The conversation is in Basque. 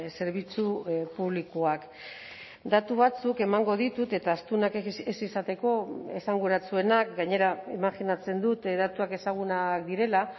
zerbitzu publikoak datu batzuk emango ditut eta astunak ez izateko esanguratsuenak gainera imajinatzen dut datuak ezagunak direla